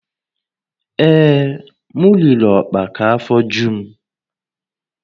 Ee, m riri ọkpa ka afọ ju m